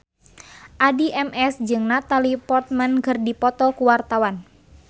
Addie MS jeung Natalie Portman keur dipoto ku wartawan